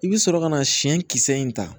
I bɛ sɔrɔ ka na siɲɛ kisɛ in ta